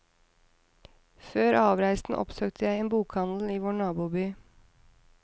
Før avreisen oppsøkte jeg en bokhandel i vår naboby.